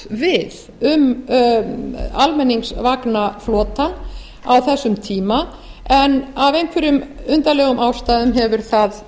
við um almenningsvagnaflotann á þessum tíma en af einhverjum undarlegum ástæðum hefur það